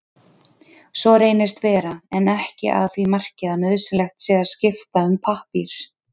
Svo reynist vera en ekki að því marki að nauðsynlegt sé að skipta um pappír.